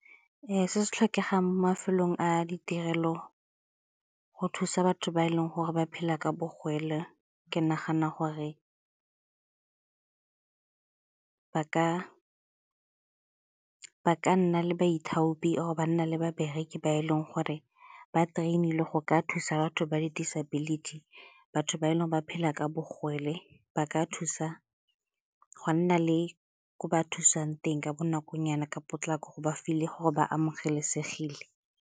Ee, se se tlhokegang mo mafelong a ditirelo go thusa batho ba e leng gore ba phela ka bogole ke nagana gore ba ka nna le boithaopi or-e ba nna le babereki ba e leng gore ba train-ilwe go ka thusa batho ba di-disability, batho ba e leng ba phela ka bogole ba ka thusa go a nna le ko ba thusang teng ka bonakonyana, ka potlako gore ba feel-e gore ba amogelesegile.